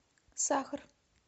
сахар